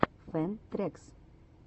фэн трэкс